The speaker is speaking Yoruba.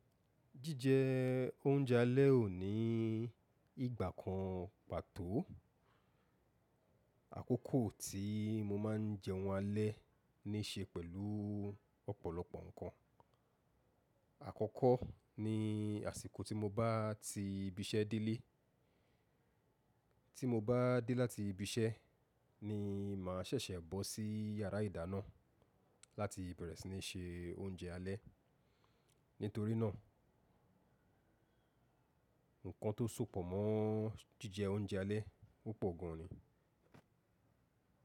Jíjẹ oúnjẹ alẹ́ ò ní ìgbà kan pàtó. Àkókò tí mo máa ń jẹun alẹ́ ní ṣe pẹ̀lú ọ̀pọ̀lọpọ̀ nǹkan. Àkọ́kọ́ ni àsìkò tí mo bá ti ibi iṣẹ́ délé. Tí mo bá dé láti ibi iṣẹ́ ni màá ṣẹ̀ṣẹ̀ bọ́ sí yàrá ìdáná láti bẹ̀rẹ̀ sí ní se oúnjẹ alẹ́. Nítorí náà, ǹkan tó sopọ̀ mọ́ jíjẹ oúnjẹ alẹ́ ọ́ pọ̀ gan ni.